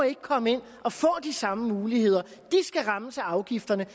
ikke komme ind og få de samme muligheder de skal rammes af afgifterne